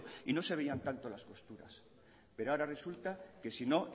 y no se veían tanto las posturas pero ahora resulta que si no